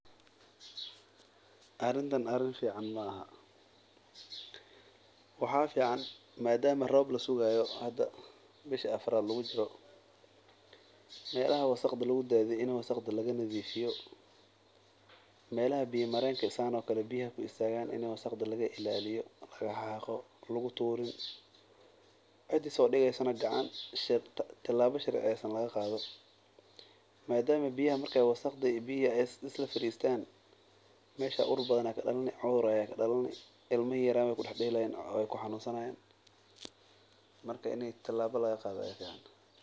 Arintah ari fican maaha wxa fican madama rob lasugayo hada bishi afarat lagujiro melaha wasaqda lagudadiyo wasaqda laga nadifiyo melha biya marenka oo kale biyaha ku istagan ini wasaqda laga ilaliyo laga xaqo luguturin cidi sodigeysonaha tilaba sharciyeysan lagaqado madama biyaha marka wasaqda iyo biyaha ay islafaristan mesha ur badan aya kadalani cudur aya kadalani ilmihi yaryarayen way kudaxdelayin way ku xanunsanayin marka ini tilaba lagaqado.